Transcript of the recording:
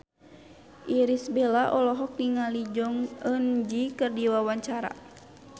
Irish Bella olohok ningali Jong Eun Ji keur diwawancara